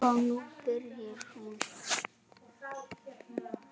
Og nú byrjaði hún.